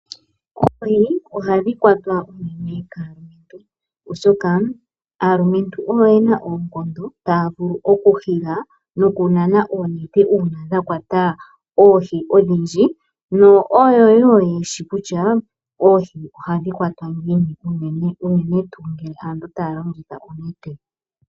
Oohi ohadhi kwatwa unene kaalumentu oshoka aalumentu oyo yena oonkondo , taya vulu okunana nokuhila oonete uuna dhakwata oohi odhindji. Oyo wo yeshishi kutya oohi ohadhi kwatwa ngiini ngele aantu taya longitha oonete.